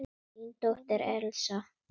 Þín dóttir, Elsa.